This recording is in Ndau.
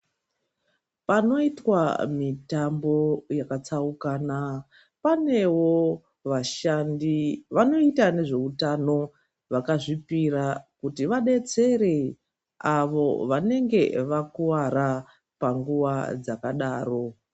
Panoitwa mitambo yakatsaukana , panewo vashandi vanoita nezveutano vakazvipira kuti vadetsere avo vanenge vakuwara panguva dzakadaro .